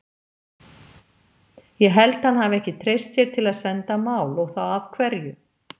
Ég held hann hafi ekki treyst sér til að senda mál, og þá af hverju?